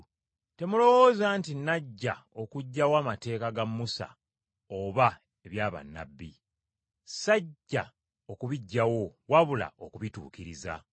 “Temulowooza nti Najja okuggyawo amateeka ga Musa oba ebya bannabbi. Sajja okubiggyawo wabula okubituukiriza.